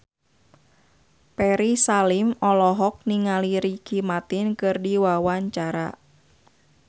Ferry Salim olohok ningali Ricky Martin keur diwawancara